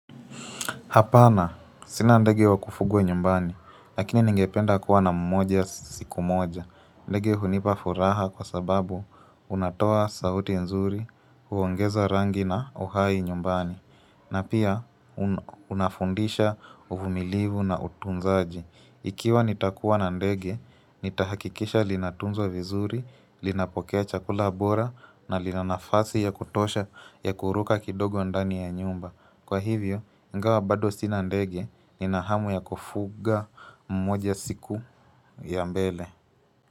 Hapana, sina ndege wa kufugwa nyumbani, lakini ningependa kuwa na mmoja siku moja. Ndege hunipa furaha kwa sababu unatoa sauti nzuri, huongeza rangi na uhai nyumbani, na pia unafundisha uvumilivu na utunzaji. Ikiwa nitakuwa na ndege, nitahakikisha linatunzo vizuri, linapokea chakula bora na linanafasi ya kutosha ya kuruka kidogo ndani ya nyumba. Kwa hivyo, ingawa bado sina ndege ni na hamu ya kufuga mmoja siku ya mbele.